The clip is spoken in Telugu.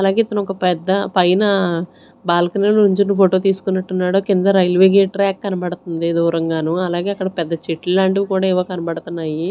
అలాగే ఇతను ఒక పెద్ద పైన బాల్కనీ నుంచోని ఫోటో తీసుకుంటున్నట్టున్నాడు కింద రైల్వే గేట్ ట్రాక్ కనబడుతుంది దూరంగానో అలాగే అక్కడ పెద్ద చెట్లు లాంటివి కూడా ఏవో కనపడుతున్నాయి.